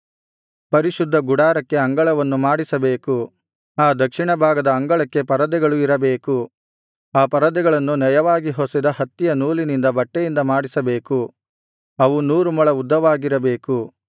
ಪರಿಶುದ್ಧ ಗುಡಾರಕ್ಕೆ ಅಂಗಳವನ್ನು ಮಾಡಿಸಬೇಕು ಆ ದಕ್ಷಿಣ ಭಾಗದ ಅಂಗಳಕ್ಕೆ ಪರದೆಗಳು ಇರಬೇಕು ಆ ಪರದೆಗಳನ್ನು ನಯವಾಗಿ ಹೊಸೆದ ಹತ್ತಿಯ ನೂಲಿನಿಂದ ಬಟ್ಟೆಯಿಂದ ಮಾಡಿಸಬೇಕು ಅವು ನೂರು ಮೊಳ ಉದ್ದವಾಗಿರಬೇಕು